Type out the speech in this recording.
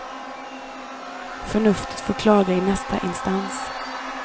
Förnuftet får klaga i nästa instans.